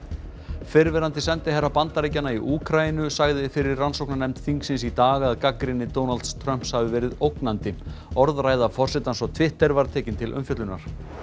fyrrverandi sendiherra Bandaríkjanna í Úkraínu sagði fyrir rannsóknarnefnd þingsins í dag að gagnrýni Donalds Trumps hafi verið ógnandi orðræða forsetans á Twitter var tekin til umfjöllunar